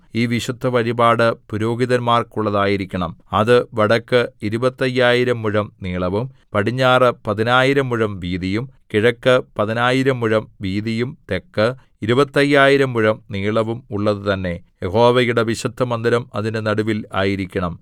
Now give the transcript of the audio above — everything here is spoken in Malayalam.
ഈ വിശുദ്ധവഴിപാട് പുരോഹിതന്മാർക്കുള്ളതായിരിക്കണം അത് വടക്ക് ഇരുപത്തയ്യായിരം മുഴം നീളവും പടിഞ്ഞാറ് പതിനായിരം മുഴം വീതിയും കിഴക്ക് പതിനായിരം മുഴം വീതിയും തെക്ക് ഇരുപത്തയ്യായിരം മുഴം നീളവും ഉള്ളത് തന്നെ യഹോവയുടെ വിശുദ്ധമന്ദിരം അതിന്റെ നടുവിൽ ആയിരിക്കണം